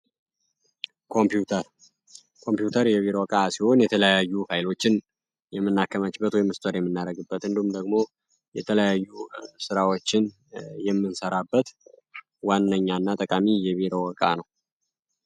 ኮምፒዩተር ኮምፒዩተር የቢሮ ዕቃ ሲሆን የተለያዩ ፋይሎችን የምናስቀመጥበት እንዲሁም ደግሞ የተለያዩ ስራዎችን የምንሰራበት ዋነኛ የቢሮ ዕቃ ነው።